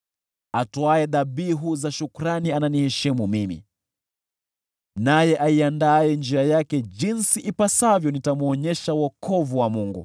Atoaye dhabihu za shukrani ananiheshimu mimi, naye aiandaa njia yake ili nimwonyeshe wokovu wa Mungu.”